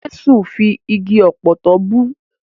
Jẹ́sù fi igi ọ̀pọ̀tọ́ bú.